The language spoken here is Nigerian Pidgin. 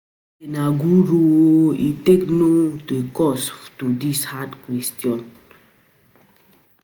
Dat guy na guru oo, how e take no the answer to dis hard question?